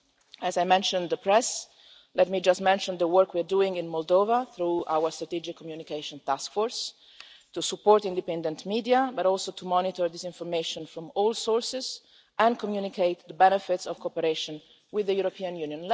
While I am mentioning the press, let me just mention the work we are doing in Moldova through our Strategic Communication Task Force, to support independent media, to monitor disinformation from all sources and to communicate the benefits of cooperation with the European Union.